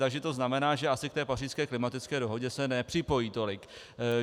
Takže to znamená, že asi k té Pařížské klimatické dohodě se nepřipojí tolik.